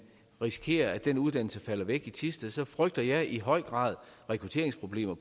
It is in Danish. risikerer at den uddannelse falder væk i thisted så frygter jeg i høj grad rekrutteringsproblemer